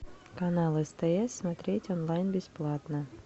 канал стс смотреть онлайн бесплатно